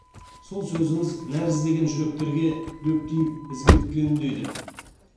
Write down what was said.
сол сөзіңіз нәр іздеген жүректерге дөп тиіп ізгілікке үндейді